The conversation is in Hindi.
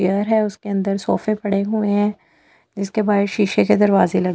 उसके अंदर सोफ़े पड़े हुए हैं जिसके बाहर शीशे के दरवाजे ल--